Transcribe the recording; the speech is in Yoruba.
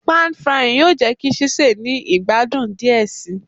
Pàn frying yoo jẹ ki sise ni igbadun diẹ sii